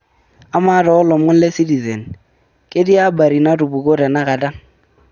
amaa too ilomon le citizen ketii habari natupukuo tenakata